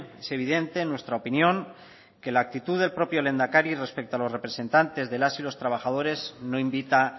es evidente en nuestra opinión que la actitud del propio lehendakari respecto a los representantes de las y los trabajadores no invita